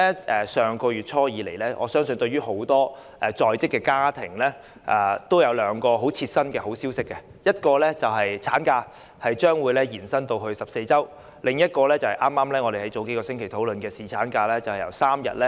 自上月初以來，我相信很多在職家庭也知悉兩項切身的好消息，其一是法定產假將延長至14周，其二是我們數星期前討論的把侍產假由3天增至5天。